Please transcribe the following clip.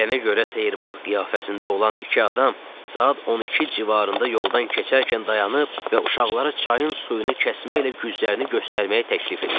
Deyilənə görə sehrbaz qiyafəsində olan iki adam saat 12 civarında yoldan keçərkən dayanıb və uşaqlara çayın suyunu kəsməklə güclərini göstərməyi təklif eləyib.